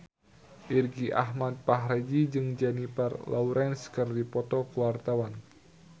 Irgi Ahmad Fahrezi jeung Jennifer Lawrence keur dipoto ku wartawan